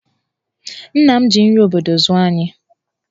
Nna m ji nri obodo zụọ anyị.